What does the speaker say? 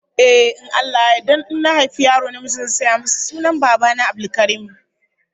Ehh, in Allah Ya yarda in na haifi yaro namiji zan sanya masa sunan Baba na, Abdulkarim